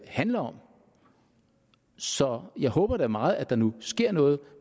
handler om så jeg håber da meget at der nu sker noget